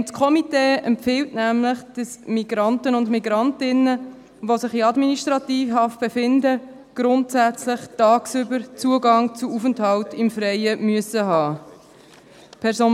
Das Komitee empfiehlt nämlich, dass Migrantinnen und Migranten, die sich in Administrativhaft befinden, grundsätzlich tagsüber Zugang zu Aufenthalt im Freien haben müssen.